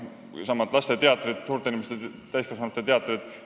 Mõtlen nii laste kui ka täiskasvanute teatreid.